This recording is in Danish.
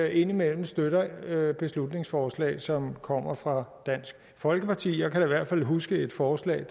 indimellem støtter beslutningsforslag som kommer fra dansk folkeparti jeg kan da i hvert fald huske et forslag